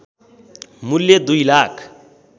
मूल्य २ लाख